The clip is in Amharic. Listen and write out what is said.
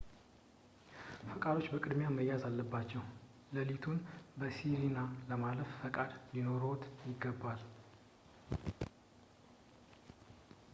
ፈቃዶች በቅድሚያ መያዝ አለባቸው። ለሊቱን በsirena ለማሳለፍ ፈቃድ ሊኖርዎት ይገባል